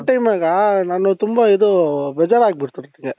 timeನಾಗ ನಾನು ತುಂಬಾ ಇದು ಬೇಜಾರ್ ಆಗ್ಬಿಡ್ತು ನಂಗೆ.